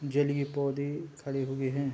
जलिये पौधे खड़े हुए हैं।